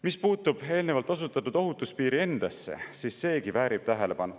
Mis puutub eelnevalt osutatud ohutuspiiri endasse, siis seegi väärib tähelepanu.